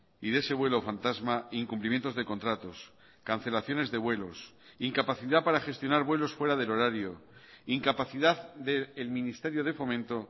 y de ese vuelo fantasma incumplimientos de contratos cancelaciones de vuelos incapacidad para gestionar vuelos fuera del horario incapacidad del ministerio de fomento